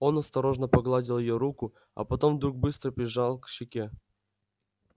он осторожно погладил её руку а потом вдруг быстро прижал к щеке